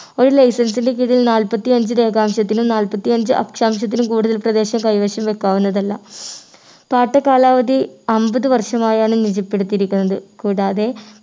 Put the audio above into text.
ഒരു license ൻ്റെ കീഴിൽ നാല്പത്തിഅഞ്ചു രേഖാംശത്തിനും നാല്പത്തിഅഞ്ചു അക്ഷാംശത്തിനും കൂടുതൽ പ്രദേശം കൈവശം വയ്ക്കാവുന്നതല്ല പാട്ട കാലാവധി അമ്പത് വർഷമായാണ് നിജപ്പെടുത്തിയിരിക്കുന്നത് കൂടാതെ